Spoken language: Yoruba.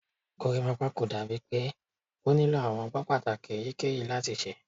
Gorimapa ko dabi pe o nilo awọn ọgbọn pataki eyikeyi lati ṣe